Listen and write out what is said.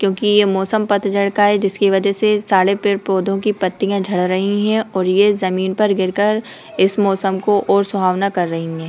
क्योंकि यह मौसम पतझड़ का है जिसकी वजह से सारे पेड़-पौधों की पत्तियां झड़ रही हैं और यह जमीन पर गिर कर इस मौसम को और सुहावना कर रही हैं ।